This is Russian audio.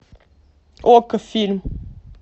окко фильм